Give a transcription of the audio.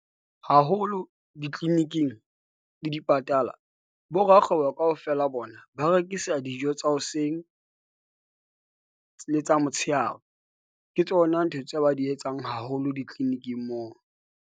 Haholo di-clinic-ing le dipatala borakgwebo kaofela bona ba rekisa dijo tsa hoseng le tsa motshehare. Ke tsona ntho tseo ba di etsang haholo di-clinic-ing moo.